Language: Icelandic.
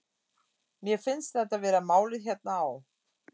Mér finnst þetta vera málið hérna á